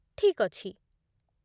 ଠିକ୍ ଅଛି ।